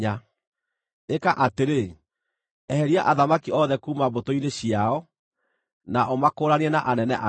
Ĩka atĩrĩ: Eheria athamaki othe kuuma mbũtũ-inĩ ciao, na ũmakũũranie na anene angĩ.